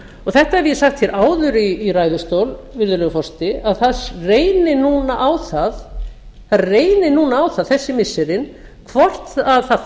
þetta hef ég sagt hér áður í ræðustól virðulegur forseti að það reyni núna á það þessi missirin hvort það